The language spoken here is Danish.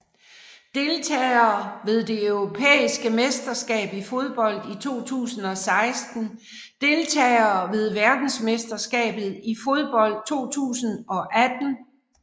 Deltagere ved det europæiske mesterskab i fodbold 2016 Deltagere ved verdensmesterskabet i fodbold 2018